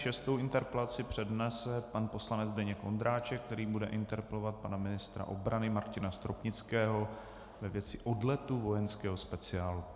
Šestou interpelaci přednese pan poslanec Zdeněk Ondráček, který bude interpelovat pana ministra obrany Martina Stropnického ve věci odletu vojenského speciálu.